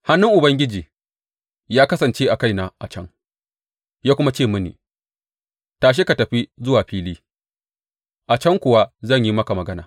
Hannun Ubangiji ya kasance a kaina a can, ya kuma ce mini, Tashi ka fita zuwa fili, a can kuwa zan yi maka magana.